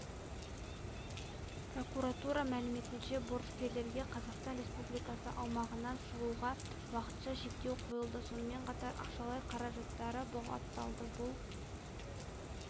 прокуратура мәліметінше борышкерге қазақстан республикасы аумағынан шығуға уақытша шектеу қойылды сонымен қатар ақшалай қаражаттары бұғатталды бұл